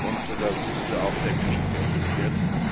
und dass auch der Krieg beendet wird.